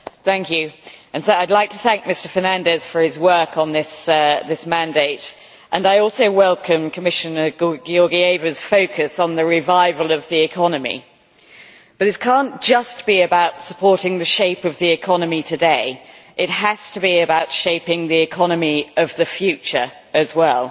Mr President, I would like to thank Mr Fernandes for his work on this mandate, and I also welcome Commissioner Georgieva's focus on the revival of the economy, but it cannot just be about supporting the shape of the economy today, it has to be about shaping the economy of the future as well.